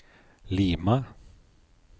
Lima